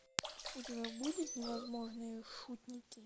у тебя будет невозможные шутники